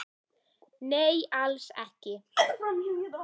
Nei, alls ekki